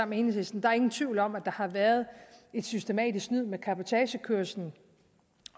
med enhedslisten der er ingen tvivl om at der har været snydt systematisk med cabotagekørslen